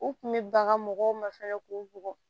U kun bɛ banga mɔgɔw ma fɛnɛ k'u bugɔ